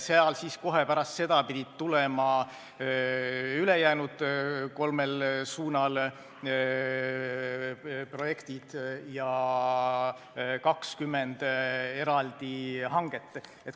Kohe pärast seda pidid tulema ülejäänud kolmel suunal projektid ja 20 eraldi hanget.